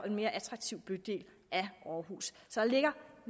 en mere attraktiv bydel i aarhus så der ligger